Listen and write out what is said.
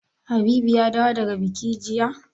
Habibu ya dawo daga buki jiya?